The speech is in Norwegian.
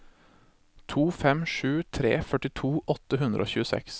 to fem sju tre førtito åtte hundre og tjueseks